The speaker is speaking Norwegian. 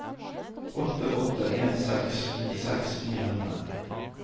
åtte åtte en seks nittiseks ni hundre